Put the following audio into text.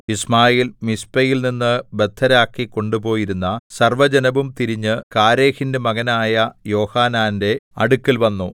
യിശ്മായേൽ മിസ്പയിൽനിന്ന് ബദ്ധരാക്കി കൊണ്ടുപോയിരുന്ന സർവ്വജനവും തിരിഞ്ഞ് കാരേഹിന്റെ മകനായ യോഹാനാന്റെ അടുക്കൽ വന്നു